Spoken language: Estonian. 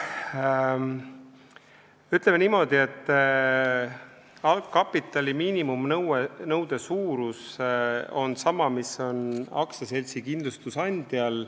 Ütleme niimoodi, et algkapitali miinimumnõude suurus on sama, mis on aktsiaseltsil kindlustusandjana.